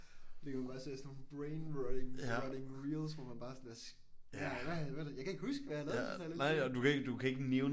Ligger man bare og ser sådan nogle brainrotting reels hvor man bare er sådan hvad sker der jeg kan ikke huske hvad jeg kan ikke huske hvad jeg har lavet den sidste halvanden time